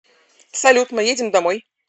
салют мы едем домой